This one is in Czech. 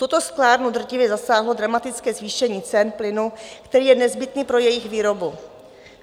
Tuto sklárnu drtivě zasáhlo dramatické zvýšení cen plynu, který je nezbytný pro jejich výrobu.